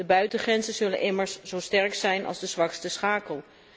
De buitengrenzen zullen immers zo sterk zijn als de zwakste schakel.